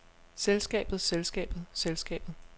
selskabet selskabet selskabet